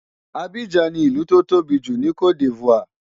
Abidjan ni ìlú tó tóbi jù ní C'ote D'Ivoire.